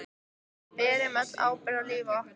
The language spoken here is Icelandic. Við berum öll ábyrgð á lífi okkar.